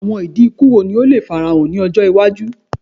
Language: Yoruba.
Awọn idi iku wo ni o le farahan ni ọjọ iwaju?